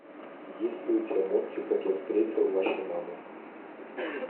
есть ли у тебя мультик как я встретил вашу маму